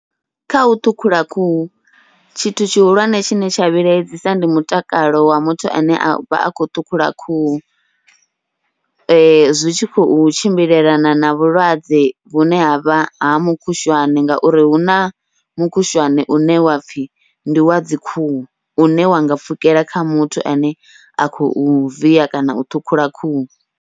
Kha u ṱhukhula khuhu tshithu tshihulwane tshine tsha vhilehedzisa ndi mutakalo wa muthu ane a vha a khou ṱhukhula khuhu, zwi tshi khou tshimbilelana na vhulwadze vhune havha ha mukhushwane ngauri huna mukhushwane une wa pfhi ndi wa dzi khuhu une wa nga pfhukela kha muthu ane a khou viya kana u ṱhukhula khuhu.